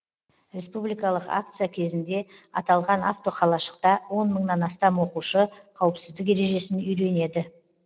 республикалық акция кезінде аталған автоқалашықта он мыңнан астам оқушы қауіпсіздік ережесін үйренеді